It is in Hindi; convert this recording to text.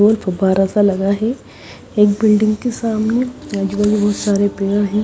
और फब्बारा सा लगा है एक बिल्डिंग के सामने आजू बाजू बहोत सारे पेड़ हैं।